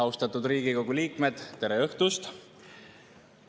Austatud Riigikogu liikmed, tere õhtust!